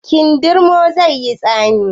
Kindirmon zai yi tsami?